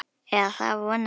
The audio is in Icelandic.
Eða það vona ég